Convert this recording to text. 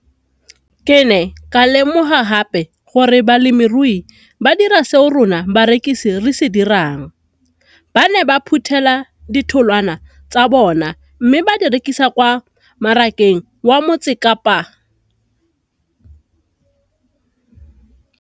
Ke ne ka lemoga gape gore balemirui ba dira seo rona barekisi re se dirang, ba ne ba phuthela ditholwana tsa bona mme ba di rekisa kwa marakeng wa Motsekapa.